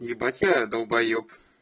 ебать я долбаёб